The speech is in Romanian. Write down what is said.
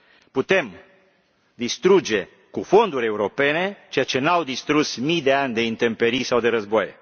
Putem distruge cu fonduri europene ceea ce n au distrus mii de ani de intemperii sau de războaie.